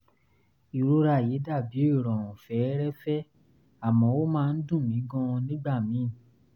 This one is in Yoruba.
ìrora yìí dà bí ìrọ̀rùn fẹ́ẹ́rẹ́ẹ́fẹ́ àmọ́ ó máa ń dùn mí gan-an nígbà míì